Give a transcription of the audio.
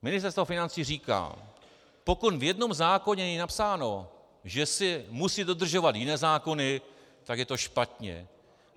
Ministerstvo financí říká: Pokud v jednom zákoně je napsáno, že se musí dodržovat jiné zákony, tak je to špatně.